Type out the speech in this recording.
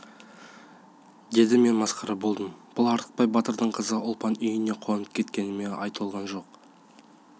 деді мен масқара болдым бұл артықбай батырдың қызы ұлпан үйіне қонып кеткеніме ай толған жоқ